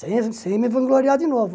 sem sem me vangloriar de novo.